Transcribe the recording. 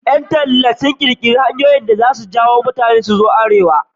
Ƴan talla sun ƙirƙiri saƙonnin da za ja hankalin mutane su ziyarci Arewa.